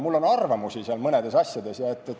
Mul on muidugi arvamus mõne asja kohta.